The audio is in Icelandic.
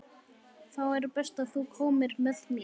Þá er best að þú komir með mér.